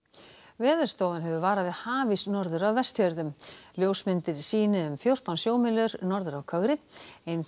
Veðurstofan hefur varað við hafís norður af Vestfjörðum ljósmyndir sýni ís um fjórtán sjómílur norður af kögri eins